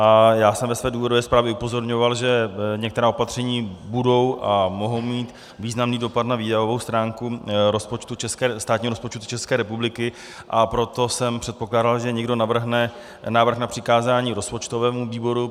A já jsem ve své důvodové zprávě upozorňoval, že některá opatření budou a mohou mít významný dopad na výdajovou stránku státního rozpočtu České republiky, a proto jsem předpokládal, že někdo navrhne návrh na přikázání rozpočtovému výboru.